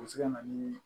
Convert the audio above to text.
O bɛ se ka na ni